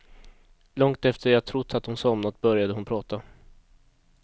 Långt efter att jag trott att hon somnat, började hon prata.